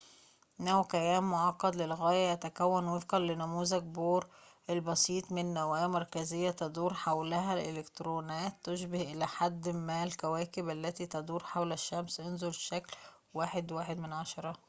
إنه كيان معقد للغاية يتكون وفقًا لنموذج بور البسيط من نواة مركزية تدور حولها الإلكترونات تشبه إلى حد ما الكواكب التي تدور حول الشمس انظر الشكل 1.1